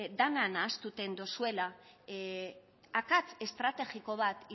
dana nahasten dozuela akats estrategiko bat